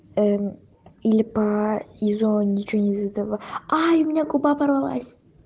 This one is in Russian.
или по изо ничего не задала ай у меня губа порвалась